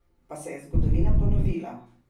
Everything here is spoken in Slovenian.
Pa se je zgodovina ponovila?